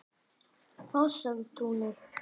Fossatúni